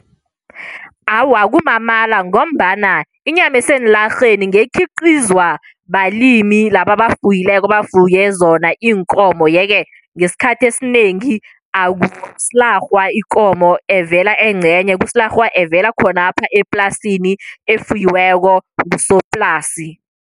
Awa, kumamala ngombana inyama eseenlarheni ngekhiqizwa balimi laba abafuyileko, bafuye zona iinkomo. Yeke, ngesikhathi esinengi akusilarhwa ikomo evela engcenye. Kusilarhwa evela khonapho eplasini, efuyiweko ngusoplasi.